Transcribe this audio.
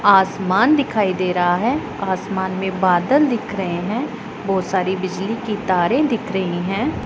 आसमान दिखाई दे रहा है। आसमान में बादल दिख रहे हैं। बहुत सारी बिजली की तारे दिख रही है।